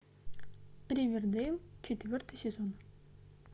ривердейл четвертый сезон